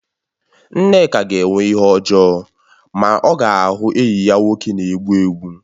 Nneka ga-enwe ihe ojoo ma o gaa hụ enyi ya nwoke na-egbu egbu